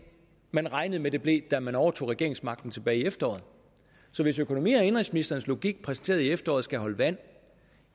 man regnede med det blev da man overtog regeringsmagten tilbage i efteråret så hvis økonomi og indenrigsministerens logik præsenteret i efteråret skal holde vand